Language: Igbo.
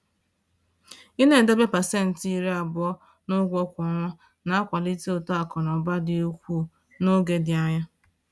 Ịna-edobe pasenti 20 n’ụgwọ kwa ọnwa na-akwalite uto akụ na ụba dị ukwuu n’oge dị anya